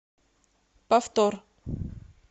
повтор